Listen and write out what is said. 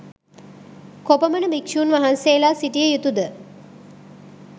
කොපමණ භික්‍ෂූන් වහන්සේලා සිටිය යුතු ද?